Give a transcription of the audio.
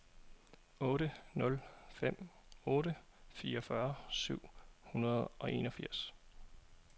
otte nul fem otte fireogfyrre syv hundrede og enogfirs